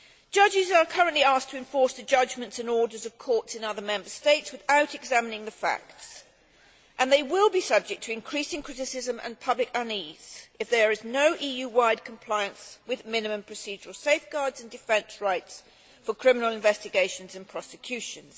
Judges are currently asked to enforce the judgments and orders of courts in other Member States without examining the facts, and they will be subject to increasing criticism and public unease if there is no EU wide compliance with minimal procedural safeguards and defence rights for criminal investigations and prosecutions.